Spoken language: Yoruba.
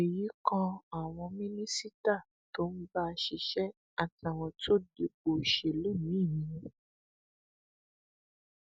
èyí kan àwọn mínísítà tó ń bá a ṣiṣẹ àtàwọn tó dipò òṣèlú míín mú